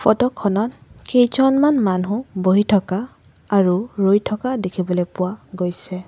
Photo খনত কেইজনমান মানুহ বহি থকা আৰু ৰৈ থকা দেখিবলৈ পোৱা গৈছে।